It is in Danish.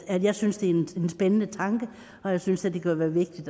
at jeg synes det er en spændende tanke og jeg synes at det kunne være vigtigt